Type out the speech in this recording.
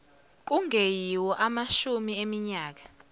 kungeyiwo amashumi eminyaka